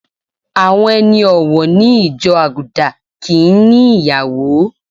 Àwọn ẹni ọ̀wọ̀ ní ìjọ Àgùdà kì ń ní ìyàwó.